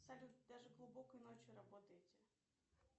салют даже глубокой ночью работаете